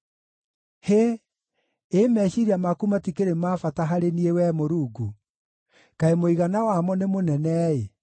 Hĩ! Ĩ meciiria maku matikĩrĩ ma bata harĩ niĩ, Wee Mũrungu! Kaĩ mũigana wamo nĩ mũnene-ĩ!